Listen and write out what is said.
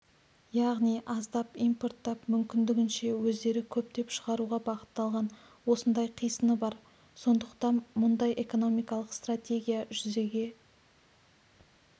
яғни аздап импорттап мүмкіндігінше өздері көптеп шығаруға бағытталған осындай қисыны бар сондықтан мұндай экономикалық стратегия жүзеге